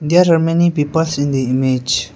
there are many peoples in the image.